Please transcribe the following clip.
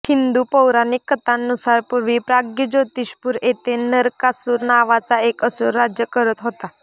हिंदू पौराणिक कथांनुसार पूर्वी प्राग्ज्योतिषपूर येथे नरकासुर नावाचा एक असूर राज्य करत होता